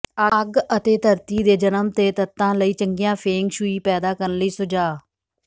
ਅੱਗ ਅਤੇ ਧਰਤੀ ਦੇ ਜਨਮ ਦੇ ਤੱਤਾਂ ਲਈ ਚੰਗੀਆਂ ਫੇਂਗ ਸ਼ੂਈ ਪੈਦਾ ਕਰਨ ਲਈ ਸੁਝਾਅ